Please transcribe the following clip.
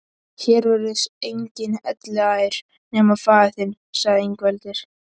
Hér verður enginn elliær nema faðir þinn, sagði Ingveldur.